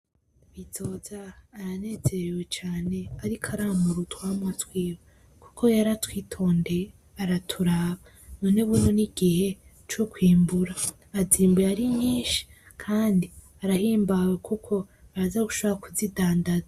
Bizoza aranezerewe cane arik'aramura utwamwa twiwe kuko yaratwitondeye araturaba, none ubu n'igihe co kwimbura, bazimbuye ari nyinshi kandi arahimbawe kuko araza gushobora kuzidandaza.